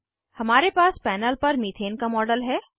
हमारे पास पैनल पर मीथेन का मॉडल है